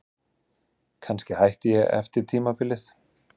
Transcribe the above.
Kannski hætti ég eftir tímabilið.